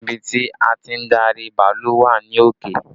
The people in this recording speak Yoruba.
Ibi tí a ti ń darí bàálù wà ní òkè